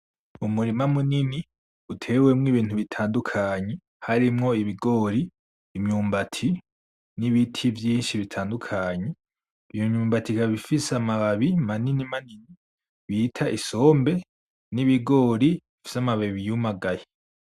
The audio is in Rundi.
Umurima munini utewemwo ibintu bitandukanye. Harimwo ibigori, imyumbati, n'ibiti vyinshi bitandukanye. Iyo myumbati ikaba ifise amababi manini manini bita isombe n'ibigori bifise amababi yumagaye.